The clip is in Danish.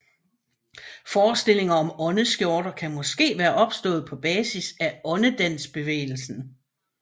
Forestillinger om åndeskjorter kan måske være opstået på basis af åndedansbevægelsen